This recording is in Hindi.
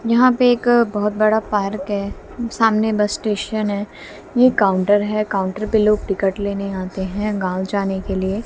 यहां पे एक बहोत बड़ा पार्क है सामने बस स्टेशन है ये काउंटर है काउंटर पर लोग टिकट लेने आते हैं गांव जाने के लिए।